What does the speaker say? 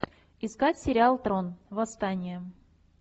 искать сериал трон восстание